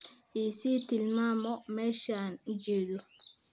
i sii tilmaamo meesha aan ujetho